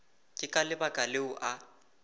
ke ka lebaka leo a